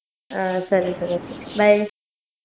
ಆ ಸರಿ ಸರಿ okay bye .